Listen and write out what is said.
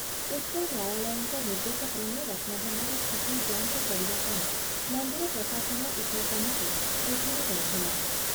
ଉଚ୍ଚନ୍ୟାୟାଳୟଙ୍କ ନିର୍ଦ୍ଦେଶକ୍ରମେ ରତ୍ନଭଣ୍ଡାର ସ୍ଥିତି ଯାଞ୍ଚ କରିବା ପାଇଁ ମନ୍ଦିର ପ୍ରଶାସନ ଏକ କମିଟି ଗଠନ କରିଥିଲା ।